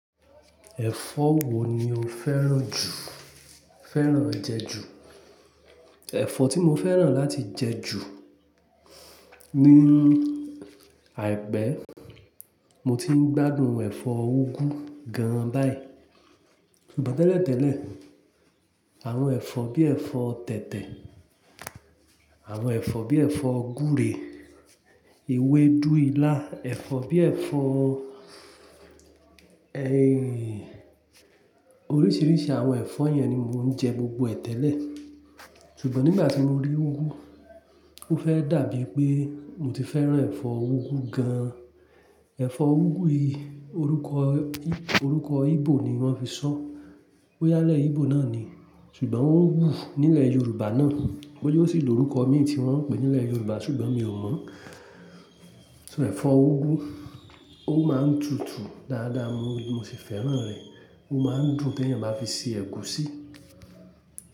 Ẹ̀fọ́ wo ni o fẹ́ràn jù, fẹ́ràn jẹ ju? Ẹ̀fọ́ tí mo fẹ́ràn láti jẹ ju ní àìpẹ́, mo ti ń gbádùn ẹ̀fọ́ úgú gan an báyìí. Ṣùgbọ́n tẹ́lẹ̀tẹ́lẹ̀, àwọn ẹ̀fọ́ bí ẹ̀fọ́ tẹ̀tẹ̀, àwọn ẹ̀fọ́ bí ẹ̀fọ́ gúre, ewédú, ilá, ẹ̀fọ́ bí ẹ̀fọ́, ẹ-- oríṣìíríṣìí àwọn ẹ̀fọ́ yẹn ni mò ń jẹ gbogbo ẹ̀ tẹ́lẹ̀. Ṣùgbọ́n nígbà tí mo rí úgú, ó fẹ́ dàbí pé mo ti fẹ́ràn ẹ̀fọ́ úgú gan an. Ẹ̀fọ́ úgú yìí, orúkọ, orúkọ Igbo ni wọ́n fi ṣọ, ó yálẹ̀ Igbo náà ni. Ṣùgbọ́n ó ń wù nílẹ̀ Yorùbá náà. Boya o sì ló orúkọ mìí tí wọ́n ń pè é nílẹ̀ Yorùbá, ṣùgbọ́n mi ò mọ́. Ṣo ẹ̀fọ́ úgú, ó máa ń tutu dáadáa mo ni mo sì fẹ́ràn rẹ̀. Ó máa ń dun ti eeyan bá fi ṣe ẹ̀gúsí.